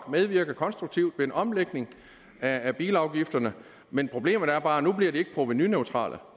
medvirke konstruktivt ved en omlægning af bilafgifterne men problemet er bare at nu bliver de ikke provenuneutrale